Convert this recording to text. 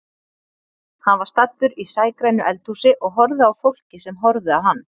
Hann var staddur í sægrænu eldhúsi og horfði á fólkið sem horfði á hann.